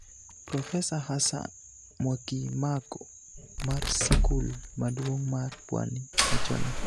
Profesa Hassan Mwakimako mar sikul maduong' mar Pwani wacho ni